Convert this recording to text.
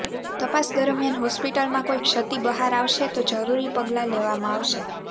તપાસ દરમિયાન હોસ્પિટલમાં કોઈ ક્ષતિ બહાર આવશે તો જરૂરી પગલાં લેવામાં આવશે